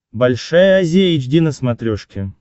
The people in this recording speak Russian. большая азия эйч ди на смотрешке